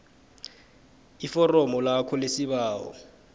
iforomo lakho lesibawo